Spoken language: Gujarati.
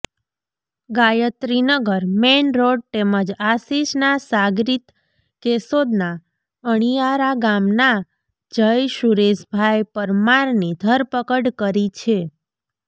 ગાયત્રીનગર મેઈનરોડ તેમજ આશીષના સાગરીત કેશોદના અણીયારા ગામના જય સુરેશભાઈ પરમારની ધરપકડ કરી છે